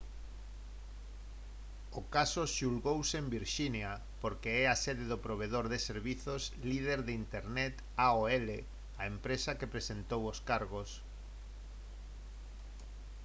o caso xulgouse en virxinia porque é a sede do provedor de servizos líder de internet aol a empresa que presentou os cargos